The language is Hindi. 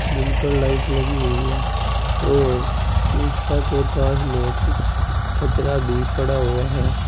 जिन पर लाइट लगी हुई है और रिक्शा के पास में कुछ कचरा भी पड़ा हुआ है।